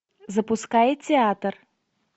запускай театр